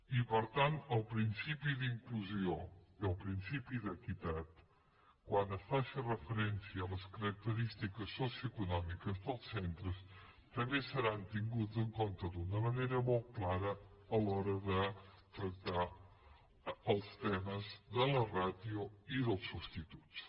i per tant el principi d’inclusió i el principi d’equitat quan es faci referència a les característi ques socioeconòmiques dels centres també seran tinguts en compte d’una manera molt clara a l’hora de tractar els temes de la ràtio i dels substituts